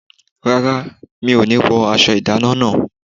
Rárá, mi ọ̀ ní wọ aṣọ ìdáná náà.